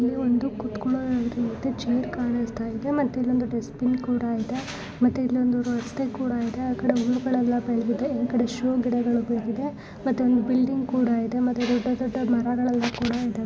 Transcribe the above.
ಇಲ್ಲಿ ಒಂದು ಕುತ್ಕೋಲೋ ರಿತಿ ಎರಡು ಚೇರ್ ಕಾಣಿಸ್ತಾ ಇದೆ ಮತ್ತೆ ಇಲ್ಲೊಂದು ದಷ್ಟ ಬಿನ್ ಕೂಡ ಇದೆ ಮತ್ತೆ ಇಲ್ಲೊಂದು ರಸ್ತೆ ಕೂಡ ಇದೆ ಆಕಡೆ ಹುಲ್ಲುಗಳೆಲಾ ಬೆಳೆದಿದೆ ಆ ಕಡೆ ಶೋ ಗಿಡಗಳು ಬೆಳೆದಿದೆ ಮತ್ತೆಒಂದು ಬಿಲ್ಡಿಂಗ್ ಕೂಡ ಇದೆ ಮತ್ತೆ ದೊಡ್ಡ ದೊಡ್ಡ ಮರಗಳೆಲ್ಲಾ ಇದೆ.